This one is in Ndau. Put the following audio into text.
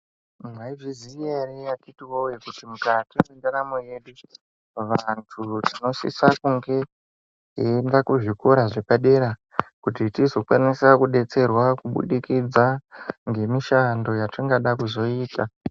Mwai zviziya ere akiti woye kuti mukati mwendaramo yedu iyi vandu tinosisa kunge eienda kuzvikora zvepadera kuti tizokwanisa kudetserwa kuburikedza ngemishando yetingada kuzoita